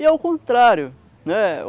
E é o contrário.